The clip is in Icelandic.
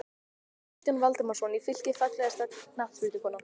Kristján Valdimarsson í Fylki Fallegasta knattspyrnukonan?